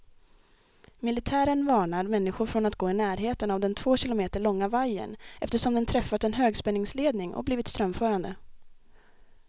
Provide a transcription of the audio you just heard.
Militären varnar människor från att gå i närheten av den två kilometer långa vajern, eftersom den träffat en högspänningsledning och blivit strömförande.